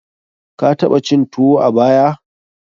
Ka taɓa cin tuwo a baya?